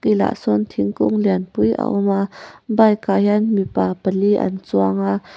sawn thingkung lianpui a awm a bike ah hian mipa pali an chuang a.